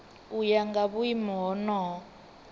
u ya nga vhuimo honoho